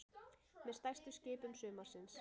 Með stærstu skipum sumarsins